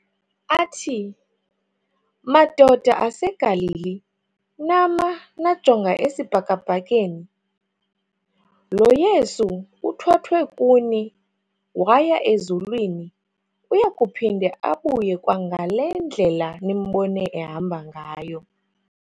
Athi "madoda aseGalili nama najonga esibhakabhakeni? lo Yesu uthwathwe kuni waya ezulwini uyakuphinde abuye kwangalendlela nimbone ehamba ngayo."